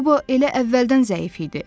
Qobo elə əvvəldən zəif idi.